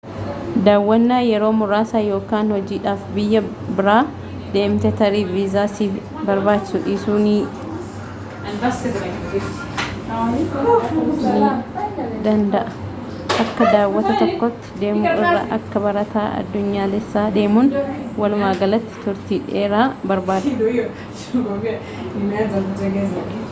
daawwwanaa yeroo muraasa yookan hojiidhaaf biyya biraa deemte tarii viisaa si barbaachisuu dhiisuu ni danda'a akka daawwataa tokkootti deemu irra akka barataa addunyaalessaatti deemuun walumaa galatti turtii dheeraa barbaada